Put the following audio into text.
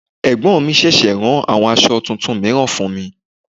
Ẹ̀gbọ́n mi ṣẹ̀ṣẹ̀ rán àwọn aṣọ tuntun mìíràn fún mi.